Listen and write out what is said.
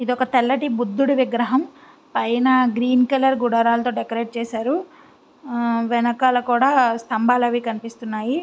ఇది ఒకటి తెల్లటి బుద్ధుని విగ్రహం పైన గ్రీన్ కలర్ గుడారాలతో డెకరేట్ చేశారు. అ వెనకాల కూడా స్తంబాలు అవి కనిపిస్తున్నాయి.